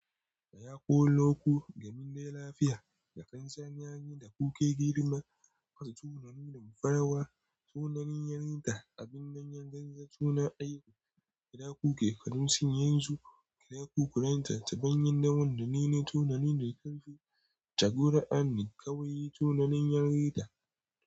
Da ya ko loko, gamin da lafiya, da kansan yayi da kukai girma, masu tunanin damfarawa, tunanin yanrita, abin dannyan zazza, tuna aiku, kira kukai, kadun siyan su, kira kukuranta, ta bayan daman da nene, tunanin da kanfi, tagura'ani, kawaiyi, tunanin yanrita.